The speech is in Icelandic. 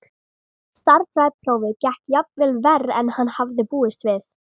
Stærðfræðiprófið gekk jafnvel verr en hann hafði búist við.